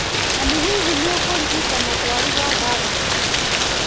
Mami, hihi, nĩ ũraririkana twaruga thani ĩrĩkũ?